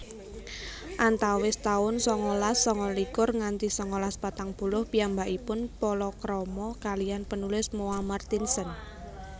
Antawis taun sangalas sangalikur nganti sangalas patang puluh piyambakipun palakrama kaliyan penulis Moa Martinson